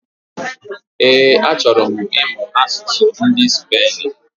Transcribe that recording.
Ee, achọrọ m imu asụsụ ndị Spain